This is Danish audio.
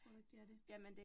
Tror du ikke det er det?